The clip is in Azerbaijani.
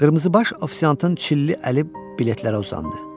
Qırmızıbaş ofisiantın çilli əli biletlərə uzandı.